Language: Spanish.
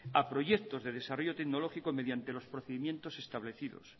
a proyectos de desarrollo tecnológico mediante los procedimientos establecidos